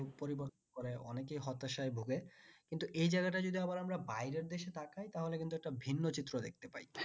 সে গুলো পরিবর্তন করে হতাশায় ভোগে কিন্ত এই জায়গায় টাই আমরা যদি বাইরের দেশে পাঠায় তাহলে কিন্তু একটা ভিন্ন চিত্র দেখতে পায়